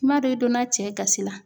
I m'a dɔn i donna cɛ gasi la!